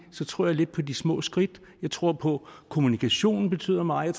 tror jeg lidt på de små skridt jeg tror på at kommunikationen betyder meget